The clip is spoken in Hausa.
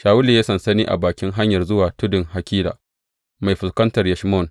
Shawulu ya yi sansani a bakin hanyar zuwa tudun Hakila mai fuskantar Yeshimon.